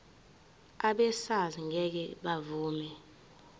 abesars ngeke bavuma